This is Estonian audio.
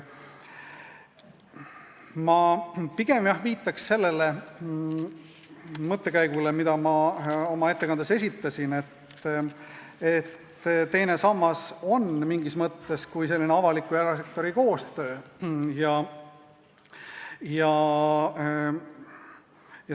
Ma pigem viitaks sellele mõttekäigule, mille ma oma ettekandes esitasin, et teine sammas on mingis mõttes selline avaliku ja erasektori koostöö.